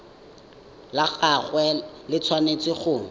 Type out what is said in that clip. la gagwe le tshwanetse go